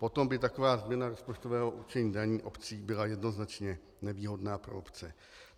Potom by taková změna rozpočtového určení daní obcí byla jednoznačně nevýhodná pro obce.